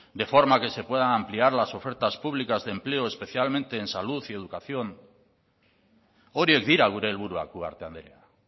de forma que se pueda ampliar las ofertas de públicas de empleo especialmente en salud y educación horiek dira gure helburuak ugarte andrea